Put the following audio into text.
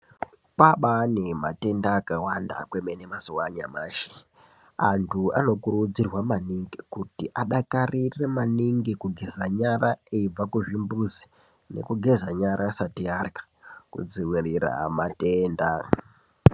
Abariyo matenda akawanda kwemene mazuwa anyamashi andu anokuridzirwa maningi kuti adakarire maningi kugeze nyara abva kuchimbuzi nekugeza nyara asati arla kudzivirira matenda.